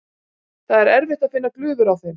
Það er erfitt að finna glufur á þeim.